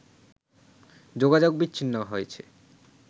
যোগাযোগ বিচ্ছিন্ন হয়ে